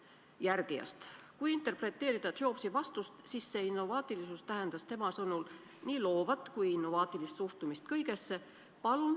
" Kui seda Jobsi vastust interpreteerida, siis innovaatilisus tähendab nii loovat kui innovaatilist suhtumist kõigesse.